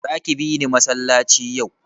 Zaki bini masallaci yau?